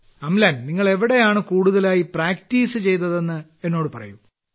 അംലാൻ നിങ്ങൾ എവിടെയാണ് കൂടുതലായി പ്രാക്ടീസ് ചെയ്തതെന്ന് എന്നോട് പറയൂ